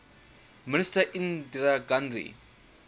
minister indira gandhi